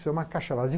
É uma caixa vazia?